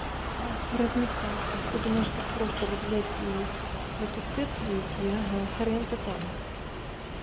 а размечтался ты думаешь так просто вот взять и на тот свет уйди ага хрен-то там